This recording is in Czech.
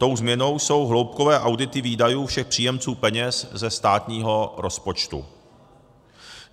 Tou změnou jsou hloubkové audity výdajů všech příjemců peněz ze státního rozpočtu.